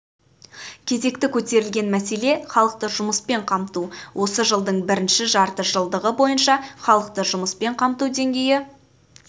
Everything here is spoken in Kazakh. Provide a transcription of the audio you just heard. кезекті көтерілген мәселе халықты жұмыспен қамту осы жылдың бірінші жарты жылдығы бойынша халықты жұмыспен қамту деңгейі